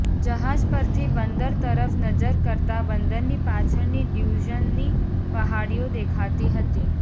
જહાજ પરથી બંદર તરફ નજર કરતાં બંદરની પાછળની લ્યુઝનની પહાડીઓ દેખાતી હતી